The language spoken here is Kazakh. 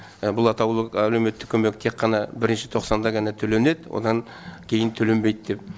бұл атаулы әлеуметтік көмек тек қана бірінші тоқсанда ғана төленеді одан кейін төленбейді деп